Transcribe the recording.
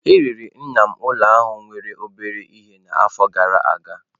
E rere nna m ụlọ ahụ nwere obere ihe n'afọ gara aga.